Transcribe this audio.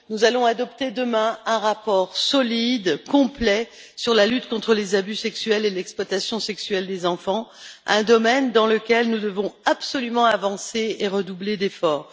Nous allons adopter demain un rapport solide et complet sur la lutte contre les abus sexuels et l'exploitation sexuelle des enfants, domaine dans lequel nous devons absolument avancer et redoubler d'efforts.